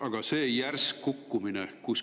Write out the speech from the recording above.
Aga järsk kukkumine.